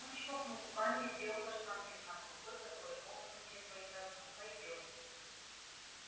он чмокнул губами и сделал каштанке знак рукой который мог означать только одно пойдём